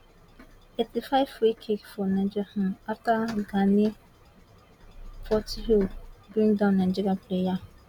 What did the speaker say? eighty five freekick for nigeria um afta gani portilho bring down nigeria player